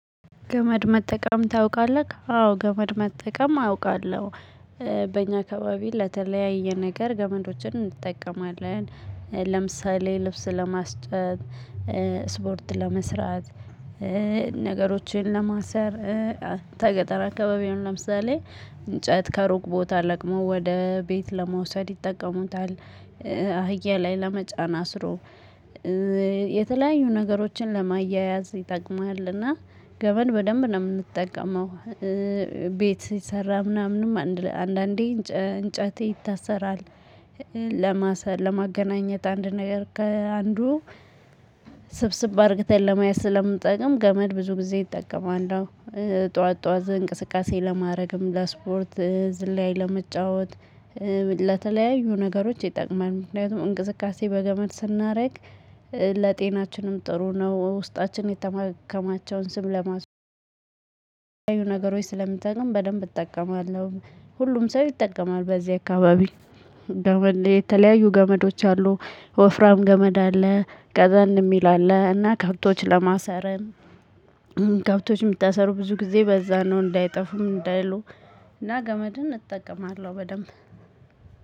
ገመድ መጠቀም ታውቃለክ? አዎ ገመድ መጠቀም አውቃለሁ። በእኛ አካባቢ ለተለያየ ነገር ገመዶችን እንጠቀማለን ለምሳሌ ልብስ ለማስጨት ስፖርት ለመስራት ነገሮችን ለማሰር። ተገጠር አካባቢ አሁን ለምሳሌ እንጨት ከሩቅ ቦታ ለቅሞ ወደ ቤት ለመውሰድ ይጠቀሙታል። አህያ ላይ ለመጫን አስሮ የተለያዩ ነገሮችን ለማያያዝ ይጠቅምሃልና ገመድ በደንብ ነው የምንጠቀመው። ቤት ሲሰራ ምናምንም አንዳንዴ እንጨት ይታሰራል። ለማሰር ለማገናኘት አንድ ነገር ከአንዱ ስብስብ አድርግተን ለመያዝ ስለምጠቅም ገመድ ብዙ ጊዜ እጠቀማለሁ። ጠዋት ጠዋት እንቅስቃሴ ለማድረግም ለስፖርት ዝላይ ለመጫወት። ለተለያዩ ነገሮች ይጠቅማል ምክንያቱም እንቅስቃሴ በገመድ ስናደርግ ለጤናችንም ጥሩ ነው። ውስጣችን የተማከማቸውን ስብ ለማስ ነገሮች ስለምጠቅም በደንብ እጠቀማለሁ። ሁሉም ሰው ይጠቀማል በዚህ አካባቢ። የተለያዩ ገመዶች አሉ ወፍራም ገመድ አለ ቀጠን የሚል አለ እና ከብቶች ለማሰርም። ከብቶች የሚታሰሩ ብዙ ጊዜ በዛ ነው እንዳይጠፉ ምን እንዳይሉ። እና ገመድን እጠቀማለሁ በደንብ።